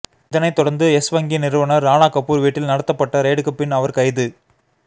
இதனைதொடர்ந்து Yes வங்கி நிறுவனர் ராணா கபூர் வீட்டில் நடத்தப்பட்ட ரெய்டுக்கு பின் அவர் கைது